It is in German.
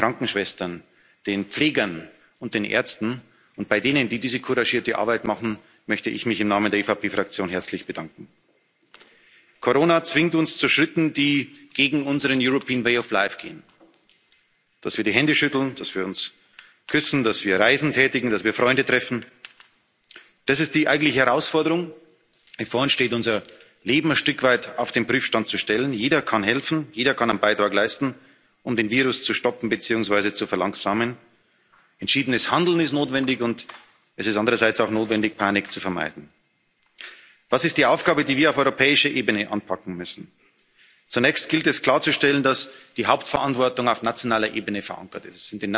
bei den Krankenschwestern, den Pflegern und den Ärzten, und bei denen, die diese couragierte Arbeit machen, möchte ich mich im Namen der EVP Fraktion herzlich bedanken. Corona zwingt uns zu Schritten, die gegen unseren European way of life gehen dass wir Hände schütteln, dass wir uns küssen, dass wir Reisen tätigen, dass wir Freunde treffen. Das ist die eigentliche Herausforderung, die vor uns steht unser Leben ein Stück weit auf den Prüfstand zu stellen. Jeder kann helfen, jeder kann einen Beitrag leisten, um den Virus zu stoppen beziehungsweise zu verlangsamen. Entschiedenes Handeln ist notwendig, und es ist andererseits auch notwendig, Panik zu vermeiden. Was ist die Aufgabe, die wir auf europäischer Ebene anpacken müssen? Zunächst gilt es, klarzustellen, dass die Hauptverantwortung auf nationaler Ebene verankert